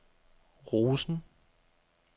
Rosen